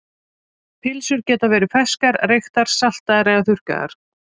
Pylsur geta verið ferskar, reyktar, saltaðar eða þurrkaðar.